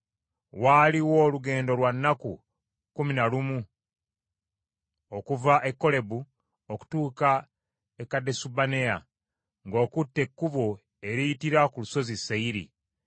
Waliwo olugendo lwa nnaku kkumi na lumu okuva e Kolebu okutuuka e Kadesubanea, ng’okutte ekkubo eriyitira ku Lusozi Seyiri.